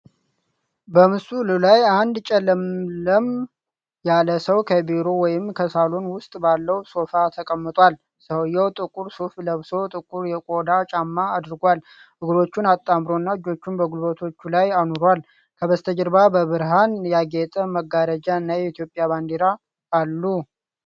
በምስሉ ላይ አንድ ጨለምለም ያለ ሰው ከቢሮ ወይም ከሳሎን ውስጥ ባለው ሶፋ ተቀምጧል። ሰውዬው ጥቁር ሱፍ ለብሶ ጥቁር የቆዳ ጫማ አድርጓል፣ እግሮቹን አጣምሮና እጆቹን በጉልበቶቹ ላይ አኑሯል። ከበስተጀርባ በብርሃን ያጌጠ መጋረጃ እና የኢትዮጵያ ባንዲራ አሉ።